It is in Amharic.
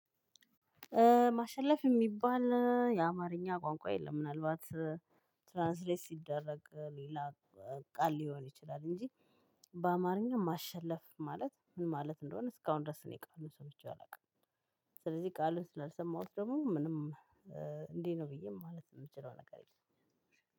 ማሸለፍ የሚባል የአማርኛ ቋንቋ የለም። ምናልባት ትራንስሌት ሲደረግ ሌላ ቃል ሊሆን ይችላል እንጂ በአማርኛ ማሸለፍ ማለት ምን ማለት እንደሆነ እስካሁን ድረስ እኔ ቃሉን ሰምቼ አላውቅም። ስለዚህ ቃሉን ስላልሰማሁት ደግሞ ምንም እንዲህ ነው ብዬ ማለት የምችለው ነገር የለም።